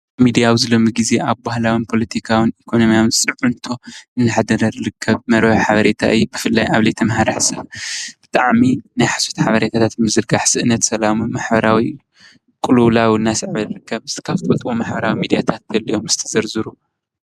ሚድያ ኣብዚ ሎሚ ግዜ ኣብ ባህላዊን ፖለቲካዊን ኢኮኖሚያዊን ፅዕንቶ እንናሕደረ ዝርከብ መርበብ ሓበሬታ እዩ፡፡ ብፍላይ ኣብ ዘይተማህረ ማሕበረ ሰብ ብጣዕሚ ናይ ሓሶት ሓበሬታት ምዝረጋሕ ምስኣን ሰላም ማሕበራዊ ቁሉውላው እናስዐበ ይርከብ፡፡ እስኪ እትፈለጠዎ ማሕበራዊ ሚድያታት እስቲ ዘርዝሩ?